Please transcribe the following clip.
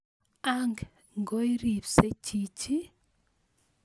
Ang ngoiripse chichi?